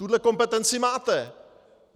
Tuhle kompetenci máte!